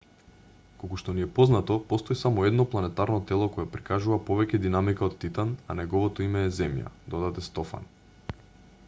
колку што ни е познато постои само едно планетарно тело кое прикажува повеќе динамика од титан а неговото име е земја додаде стофан